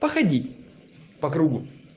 походить по кругу